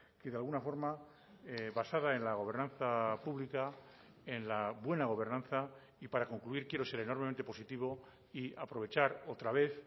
que de alguna forma basada en la gobernanza pública en la buena gobernanza y para concluir quiero ser enormemente positivo y aprovechar otra vez